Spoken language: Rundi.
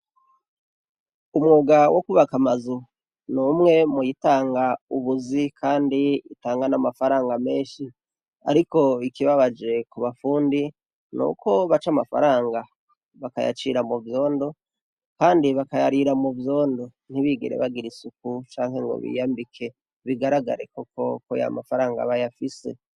Umwuga wokubaka amazu numwe muwutanga ubuzi kandi itanga n'amafaranga menshi ariko ikibabaje kubafundi nuko baca amafaranga bakayacira muvyondo kandi bakayarira muvyondo ntibigere bagira isuku canke ngo bigambike Bigaragare koko KO yamafaranga bayafise